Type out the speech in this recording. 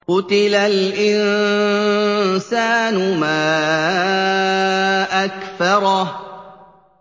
قُتِلَ الْإِنسَانُ مَا أَكْفَرَهُ